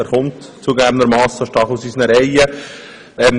Er kommt zugegebenermassen stark aus unseren Reihen.